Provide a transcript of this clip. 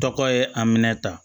Tɔgɔ ye a minɛ ta